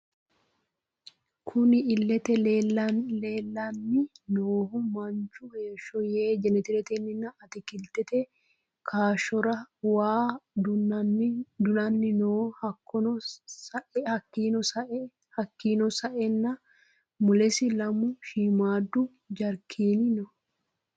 Kunni illete leelani noohu Manchu heeshsho yee jenetereteni atikilitete kaashshorra waa du'nanni no hakiino sa'eena mulesi lamu shiimadu jarikeni no.